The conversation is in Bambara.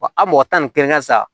Wa a mɔgɔ tan ni kelen ka sa